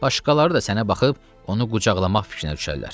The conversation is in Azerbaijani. Başqaları da sənə baxıb onu qucaqlamaq fikrinə düşərlər.